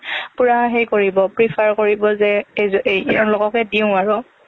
পুৰা হেৰী কৰিব prefer কৰিব যে এই এওঁলোককে দিওঁ আৰু